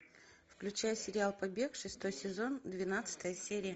включай сериал побег шестой сезон двенадцатая серия